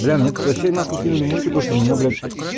бля мне тут вообще нахуй кинули мульку то что у меня блять